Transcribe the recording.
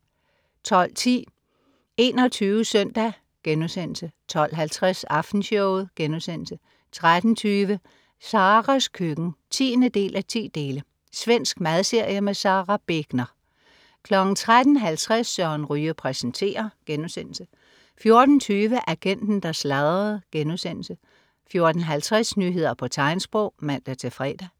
12.10 21 SØNDAG* 12.50 Aftenshowet* 13.20 Saras køkken. 10:10. Svensk madserie. Sara Begner 13.50 Søren Ryge præsenterer* 14.20 Agenten, der sladrede* 14.50 Nyheder på tegnsprog (man-fre)